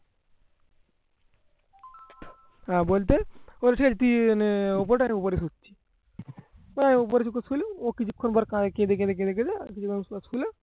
আহ বলতে বলছে তুই এনে ও কিছুক্ষন পরে কয় কি